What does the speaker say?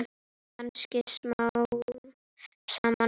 Kannski smám saman.